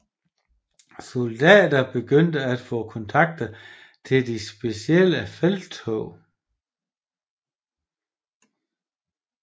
Soldater begyndte at få kontrakter til specifikke felttog